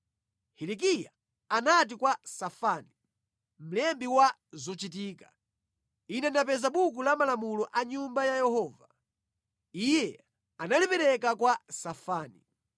Hilikiya anati kwa Safani, mlembi wa zochitika, “Ine ndapeza Buku la Malamulo mʼNyumba ya Yehova.” Iye analipereka kwa Safani.